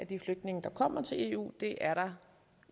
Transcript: de flygtninge der kommer til eu det er der